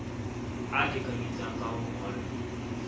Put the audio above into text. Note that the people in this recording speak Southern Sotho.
a lekanyetsang ka ho ngolla